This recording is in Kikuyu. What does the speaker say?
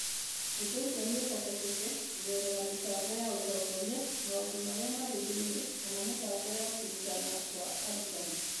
Ũndũ ũcio nĩ ũhotekeke kũgerera mĩbango ya ũtongoria, maũndũ marĩa marĩ thĩinĩ, kana mĩbango ya kũrutana kwa arutani.